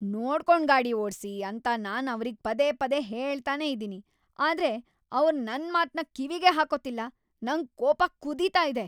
ನೋಡ್ಕೊಂಡ್ ಗಾಡಿ ಓಡ್ಸಿ ಅಂತ ನಾನ್ ಅವ್ರಿಗ್‌ ಪದೇ ಪದೇ ಹೇಳ್ತಾನೇ ಇದೀನಿ, ಆದ್ರೆ ಅವ್ರ್ ನನ್ಮಾತ್ನ ಕಿವಿಗೇ ಹಾಕೋತಿಲ್ಲ, ನಂಗ್ ಕೋಪ ಕುದೀತಾ ಇದೆ.